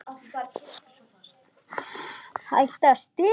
Hættir að stela.